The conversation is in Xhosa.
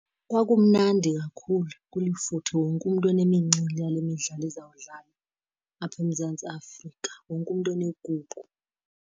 Kwakumnandi kakhulu kulifuthe, wonke umntu enemincili yale midlalo izawudlalwa apha eMzantsi Afrika. Wonke umntu enegubu.